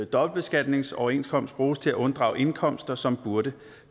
dobbeltbeskatningsoverenskomst bruges til at unddrage indkomster som burde